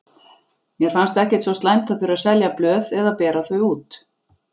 Mér fannst ekkert svo slæmt að þurfa að selja blöð eða bera þau út.